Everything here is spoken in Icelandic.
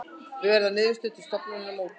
Verður niðurskurði til stofnunarinnar mótmælt